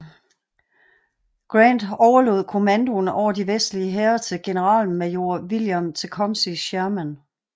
Grant overlod kommandoen over de vestlige hære til generalmajor William Tecumseh Sherman